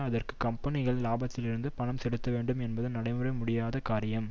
அதற்கு கம்பெனிகள் லாபத்திலிருந்து பணம் செலுத்தவேண்டும் என்பது நடைபெற முடியாத காரியம்